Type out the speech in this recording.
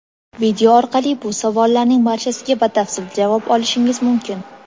Video orqali bu savollarning barchasiga batafsil javob olishingiz mumkin.